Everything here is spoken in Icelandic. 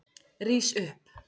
Rís upp!